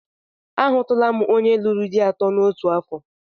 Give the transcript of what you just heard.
Ahụtụla m onye lụrụ di atọ n'otu afọ